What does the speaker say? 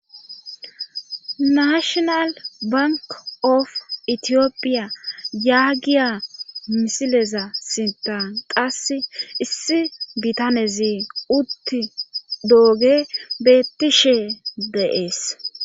Nashonal bank of itiyophiya yaagiya misileza sinta qassi issi bitanezi utti dooge bettishe deees